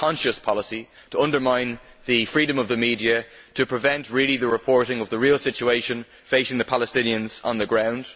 it is a conscious policy to undermine the freedom of the media to prevent the reporting of the real situation facing the Palestinians on the ground.